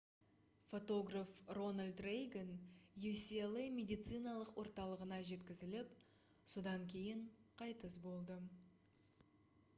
фотограф рональд рейган ucla медициналық орталығына жеткізіліп содан кейін қайтыс болды